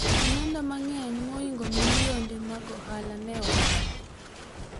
omenda mang'eny mohingo milionde mag ohala ne owang'